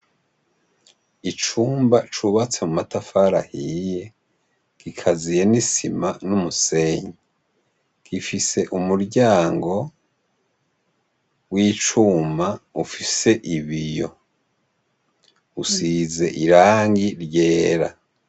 Icumba cubatse amatafari ahiye kigaziye nisima numusenyi gifise umuryango wicuma ufise ibiyo usize irangi ryera